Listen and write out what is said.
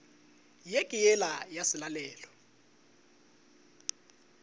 ye ke yela ya selalelo